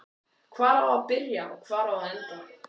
Hvar á að byrja og hvar á að enda?